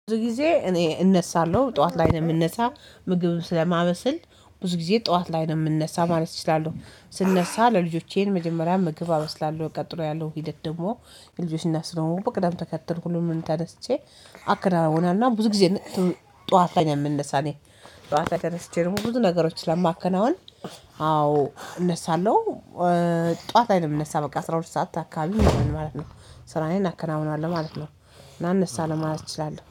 ብዙ ጊዜ እኔ እነሳለሁ ጠዋት ላይ ነው የምነሳ ምግብ ስለማበስል ብዙ ጊዜ ጠዋት ላይ ነው የምነሳ ማለት እችላለሁ። ስነሳ ለልጆቼን መጀመሪያ ምግብ አበስላለሁ ቀጥሎ ያለው ሂደት ደግሞ የልጆቼን እናት ስለሆንኩ በቅደም ተከተል ሁሉንም ተነስቼ አከናናውና ብዙ ጊዜ ጠዋት ላይ የምንሳ እኔ ጠዋት ላይ ተነስቼ ደሞ ብዙ ነገሮችን ስለማከናውን አዎ እነሳለሁ። ጠዋት ላይ ምነሳ በቃ አስራ ሁለት ሰዓት አካባቢ ማለት ነው። ስራዬን አከናውናለው ማለት ነው። እና አነሳለው ለማለት እችላለሁ።